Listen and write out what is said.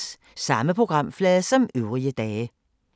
Samme programflade som øvrige dage